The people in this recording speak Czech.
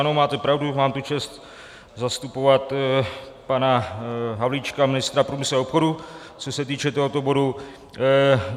Ano, máte pravdu, mám tu čest zastupovat pana Havlíčka, ministra průmyslu a obchodu, co se týče tohoto bodu.